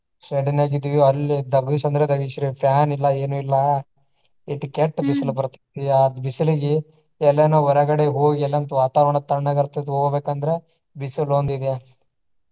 shed ನ್ಯಾಗ ಇದ್ವಿ ಅಲ್ಲಿ ಧಗಿಸಿ ಅಂದ್ರ ಧಗಿಸ್ರಿ fan ಇಲ್ಲಾ ಏನು ಇಲ್ಲಾ. ಇಟ್ಟ ಕೆಟ್ಟ ಬಿಸಿಲು ಬರ್ತೆತಿ. ಆದ ಬಿಸಿಲಿಗಿ ಎಲ್ಲಾ ನಾವ ಹೊರಗಡೆ ಹೋಗಿ ಎಲ್ಲಾಂತ್ರ ವಾತಾವರಣ ತಣ್ಣಗ ಇರ್ತೆತಿ ಹೋಗ್ಬೇಕ ಅಂದ್ರ ಬಿಸಿಲು ಒಂದು ಇದೆ.